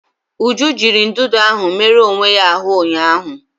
Uju jiri ndụdụ ahụ merụọ onwe ya ahụ ụnyaahụ.